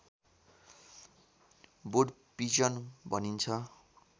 would pigeon भनिन्छ